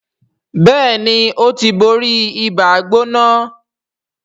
Béèni o tí bóri Ibàá-gbóná.